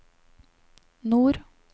nord